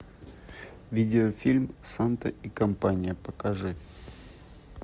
видеофильм санта и компания покажи